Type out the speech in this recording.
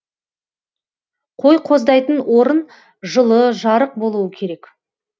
қой қоздайтын орын жылы жарық болуы керек